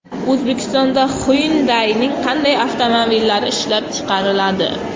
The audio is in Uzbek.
O‘zbekistonda Hyundai’ning qanday avtomobillari ishlab chiqariladi?.